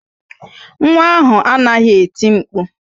Nwa ahụ anaghị eti mkpu